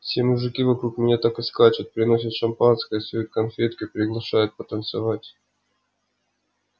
все мужики вокруг меня так и скачут приносят шампанское суют конфетки приглашают потанцевать